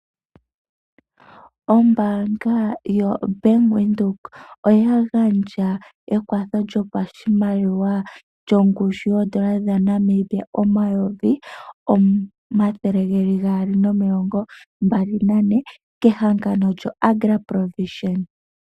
Ombaanga yoBank Windhoek oya gandja ekwatho lyoshimaliwa shongushu yooN$ 224 000 kehangano lyoAgra ProVision.